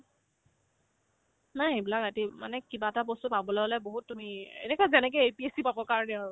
নাই সেইবিলাক ৰাতি মানে কি কিবা এটা বস্তু পাবলৈ হ'লে বহুত তুমি এনেকুৱা যেনেকে APSC পাবৰ কাৰণে আৰু